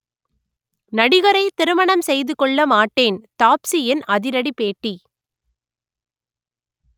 நடிகரை திருமணம் செய்து கொள்ள மாட்டேன் தாப்ஸியின் அதிரடி பேட்டி